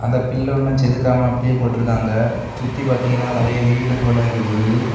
அந்த பில்லு ஒன்னும் செதுக்காம அப்படியே போட்ருக்காங்க சுத்தி பாத்தீங்கன்னா நறைய வீடு போல இருக்குது.